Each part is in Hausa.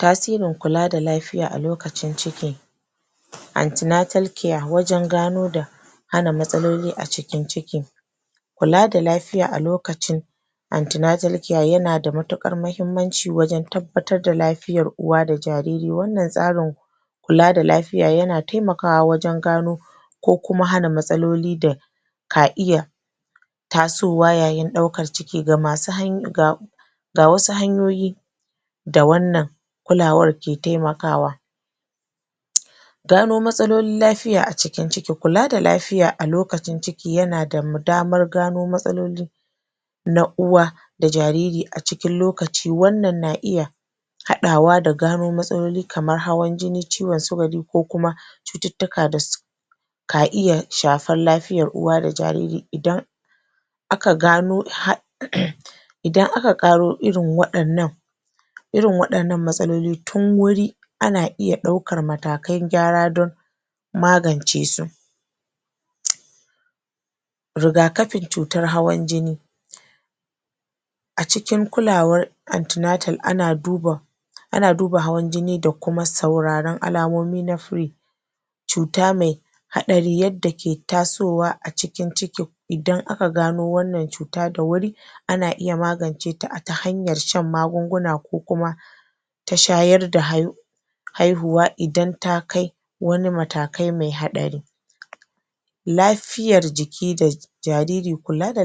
Tasirin kula da lafiya a lokacin ciki antenatal care wajen gano da hana matsaloli a cikin ciki kula da lafiya a lokacin antenatal care yana da matuƙar mahimmanci wajen tabbatar da lafiyar uwa da jariri. wannan tsarin kula da lafiya yana taimakawa wajen gano ko kuma hana matsaloli da ka iya taasowa yayin ɗaukar ciki? Ga wasu hanyoyi da wannan kulawar ke taimakawa gano matsalolin lafiya a cikin ciki. kula da lafiya a lokacin ciki yana da damar gano matsaloli na uwa da jariri a cikin lokaci wannan na iya haɗawa da gano matsaloli kamar hawan jini, ciwon sukari ko kuma cututtuka da ka iya shafar lafiyar uwa da jariri idan aka gano? idan aka ƙaro irin waɗannan irin waɗannan matsaloli tun wuri ana iya ɗaukar matakan gyara don magance su rigakafin cutar hawan jini a cikin kulawar antenatal ana duba ana duba hawan jini da kuma sauraron alamomi na free cuta mai haɗari da ke tasowa a cikin ciki idan aka gano wanna cuta da wuri ana iya magance ta a ta hanyar shan magunguna ko kuma ta shayar da haihuwa idan ta kai wanimatakai mai haɗari lafiyar jiki da jariri. kula da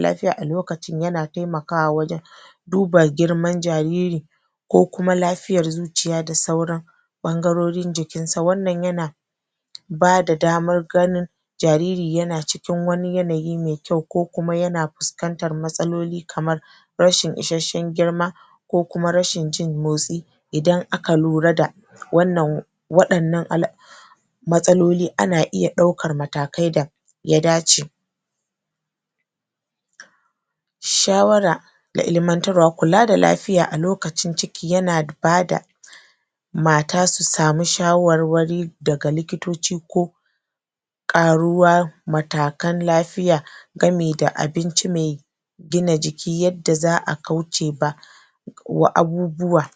lafiya a lokacin yana taimakawa wajen duba girman jariri ko kuma lafiyar zuciya da sauran ɓangarorin jikinsa. wannan yana bada damar ganin jariri yana cikin wani yanayi mai kyau ko kuma yana fuskantar matsaloli kamar rashin isashen girma ko kuma rashin jin motsi idan aka lura da wannan waɗannan mastaloli ana iya ɗaukar matakai da ya dace shawara da ilimantarwa. kula da lafiya a lokacin ciki yana bada mata su samu shawarwari daga likitoci kok ƙaruwa matakan lafiya game da abinci mai gina jiki yadda za a kauce wa abubuwa